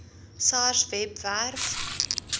sars webwerf